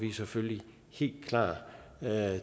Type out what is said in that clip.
vi selvfølgelig helt klar til at